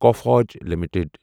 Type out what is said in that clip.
Coforge limited